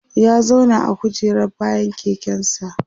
ya zauna a kujerar bayan keken sa